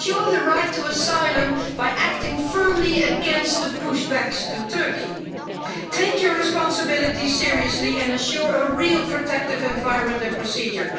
Ensure the right to asylum by acting firmly against the push-backs to Turkey. Take your responsibilities seriously and assure a real protective environment and procedure.